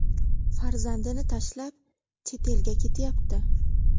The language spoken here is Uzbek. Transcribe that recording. Farzandini tashlab chet elga ketyapti.